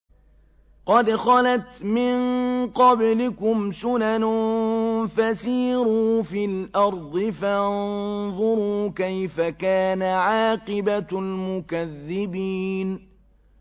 قَدْ خَلَتْ مِن قَبْلِكُمْ سُنَنٌ فَسِيرُوا فِي الْأَرْضِ فَانظُرُوا كَيْفَ كَانَ عَاقِبَةُ الْمُكَذِّبِينَ